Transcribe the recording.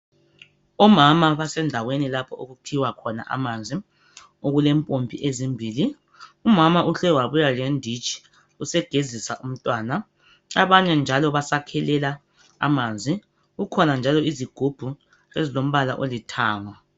Omama basendaweni lapho okukhiwa khona amanzi okulempompi ezimbili umama uhle wabuya lenditshi usegezisa umntwana abanye njalo basakhelela amanzi kukhona izigubhu ezilombala olithanga.